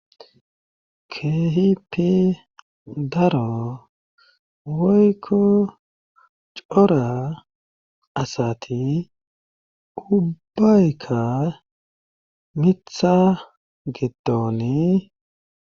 Kehipie daro woykko cora asati ubbayka mitha giddonii.